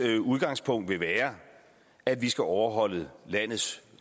udgangspunkt vil være at vi skal overholde landets